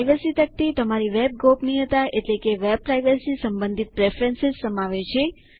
privacy તકતી તમારી web ગોપનીયતા સંબંધિત પ્રેફરન્સ સમાવે છે